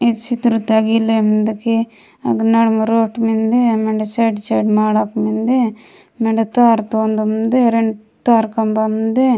इच्छित्रता गिलंदमिंदगी अग्नामरोठ मिन्दे एमंर साड़- साड़ मांड्या मिन्दे मेंडता तार टोंड मिन्दे मेंडता तार खंभा मिन्दे।